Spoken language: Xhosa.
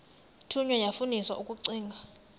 thunywa yafundiswa ukugcina